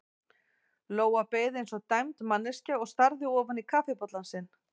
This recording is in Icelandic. Lóa beið eins og dæmd manneskja og starði ofan í kaffibollann sinn.